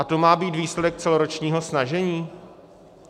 A to má být výsledek celoročního snažení?